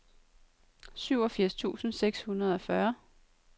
syvogfirs tusind seks hundrede og fyrre